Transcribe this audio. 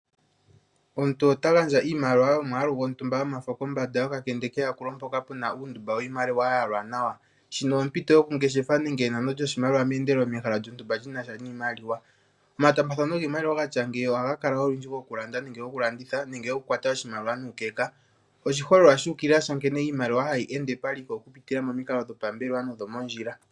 Omuntu ota gandja iimaliwa yomwaalu gontumba yomafo kombanda yokakende keyakulo mpoka pu na uundumba wiimaliwa ya yalwa nawa. Shika ompito yokungeshefa nenge enano lyoshimaliwa meendelelo mehala lyontumba li na sha niimaliwa. Omataambathano giimaliwa ga tya ngeyi ohaga kala olundji gokulanda nenge gokulanditha nenge gokukwata oshimaliwa nuukeka. Oshiholelwa shu ukilila sha nkene iimaliwa hayi ende paliko okupitila momikalo dhopambelewa nodho mondjila.